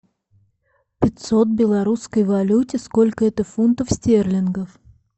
пятьсот в белорусской валюте сколько это фунтов стерлингов